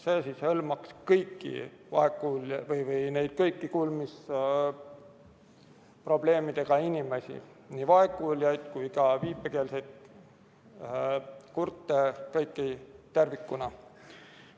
Sest see hõlmaks kõiki kuulmisprobleemidega inimesi, nii vaegkuuljaid kui ka viipekeelseid kurte, kõiki tervikuna.